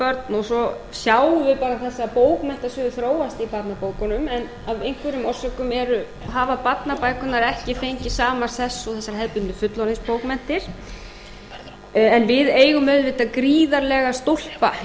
og svo sjáum við bara þessar bókmenntir sem þróast í barnabókunum en af einhverjum orsökum hafa barnabækurnar ekki fengið sama sess og þessar hefðbundnu fullorðinsbókmenntir en við eigum auðvitað gríðarlega stólpa